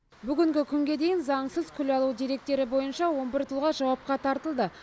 бүгінгі күнге дейін заңсыз күл алу деректері бойынша он бір тұлға жауапқа тартылды